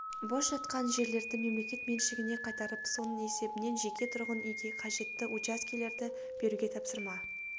бос жатқан жерлерді мемлекет меншігіне қайтарып соның есебінен жеке тұрғын үйге қажетті учаскелерді беруге тапсырма